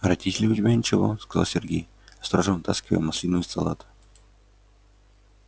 а родители у тебя ничего сказал сергей осторожно вытаскивая маслину из салата